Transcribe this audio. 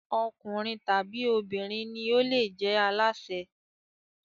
Ọkùnrin tàbí obìnrin ni ó le jẹ alásè.